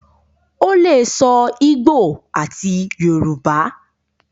o le sọ igbó àti Yorùbá.